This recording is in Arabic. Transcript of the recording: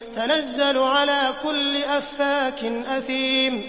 تَنَزَّلُ عَلَىٰ كُلِّ أَفَّاكٍ أَثِيمٍ